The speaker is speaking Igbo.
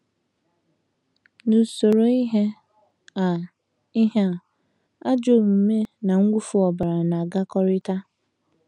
N’usoro ihe a, ihe a, ajọ omume na mwụfu ọbara na - agakọtakarị.